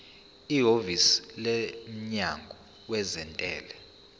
ihhovisi lomnyango wezentela